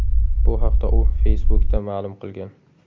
Bu haqda u Facebook’da ma’lum qilgan .